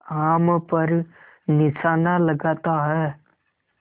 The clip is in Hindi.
आम पर निशाना लगाता है